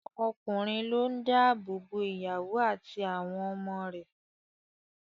Ọkùnrin ló ń dá ààbò bo ìyàwó àti àwọn ọmọ rẹ̀